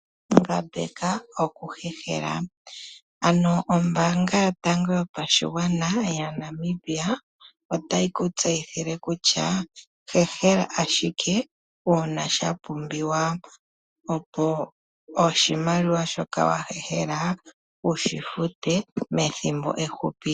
Ngambeka okuhehela, ano ombaanga yotango yopashigwana yaNamibia otayi ku tseyithile kutya, hehela ashike uuna sha pumbiwa. Opo oshimaliwa shoka wa hehela wu shi fute methimbo efupi.